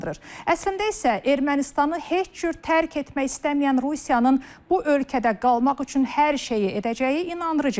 Əslində isə Ermənistanı heç cür tərk etmək istəməyən Rusiyanın bu ölkədə qalmaq üçün hər şeyi edəcəyi inandırıcı görünür.